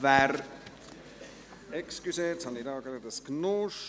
Wer … Entschuldigung, jetzt habe ich hier gerade ein Durcheinander.